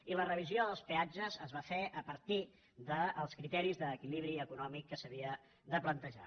i la revisió dels peatges es va fer a partir dels criteris d’equilibri econòmic que s’havien de plantejar